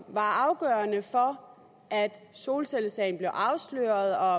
var afgørende for at solcellesagen blev afsløret og